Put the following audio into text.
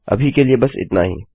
अभी के लिए बस इतना ही